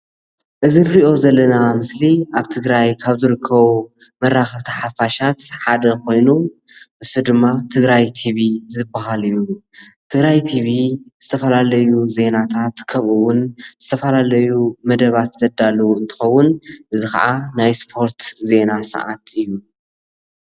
እዚ እንሪኦ ዘለና ምስሊ ኣብ ትግራይ ካብ ዝርከቡ መራከብቲ ሓፋሻት ሓደ ኮይኑ ንሱ ድማ ትግራይ ቲቪ ዝባሃል እዩ፡፡ ትግራይ ቲቪ ዝተፈላለዩ ዜናታት ከምኡ እውን ዝተፈላለዩ መደባት ዘዳልው እንትከውን እዚ ከዓ ናይ ስፖርት ዜና ሰዓት እዩ፡፡